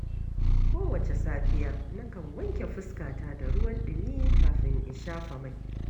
Kowace safiya, nakan wanke fuskata da ruwan ɗumi kafin in shafa mai.